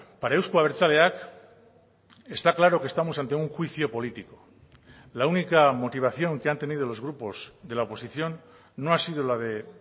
para euzko abertzaleak está claro que estamos ante un juicio político la única motivación que han tenido los grupos de la oposición no ha sido la de